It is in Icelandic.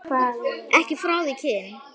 Ekki frá því kyn